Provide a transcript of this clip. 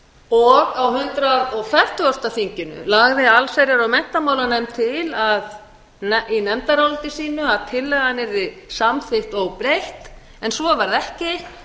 og á hundrað fertugasta þinginu lagði allsherjar og menntamálanefnd til í nefndaráliti sínu að tillagan yrði samþykkt óbreytt en svo varð ekki